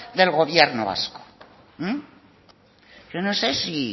del gobierno vasco yo no sé si